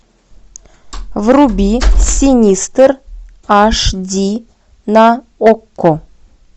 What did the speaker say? вруби синистер аш ди на окко